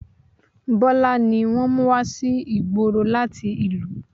Bọlá ni wọ́n mú wá sí ìgboro láti ìlú